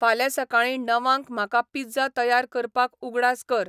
फाल्यां सकाळीं णवांक म्हाका पिझ्झा तयार करपाक उगडास कर